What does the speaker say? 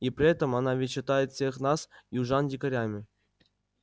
и при этом она ведь считает всех нас южан дикарями